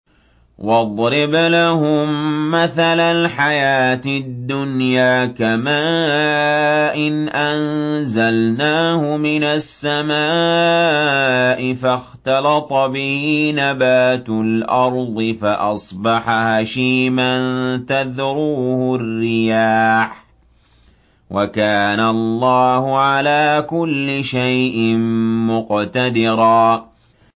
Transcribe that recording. وَاضْرِبْ لَهُم مَّثَلَ الْحَيَاةِ الدُّنْيَا كَمَاءٍ أَنزَلْنَاهُ مِنَ السَّمَاءِ فَاخْتَلَطَ بِهِ نَبَاتُ الْأَرْضِ فَأَصْبَحَ هَشِيمًا تَذْرُوهُ الرِّيَاحُ ۗ وَكَانَ اللَّهُ عَلَىٰ كُلِّ شَيْءٍ مُّقْتَدِرًا